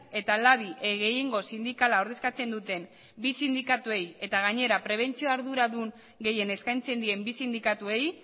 eta labi gehiengo sindikala ordezkatzen duten bi sindikatuei eta gainera prebentzioa arduradun gehien eskaintzen dien bi sindikatuei